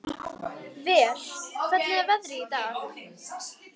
Ver, hvernig er veðrið í dag?